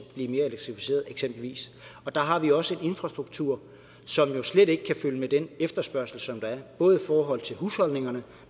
blive mere elektrificeret og der har vi jo også en infrastruktur som slet ikke kan følge med den efterspørgsel der er både i forhold til husholdningerne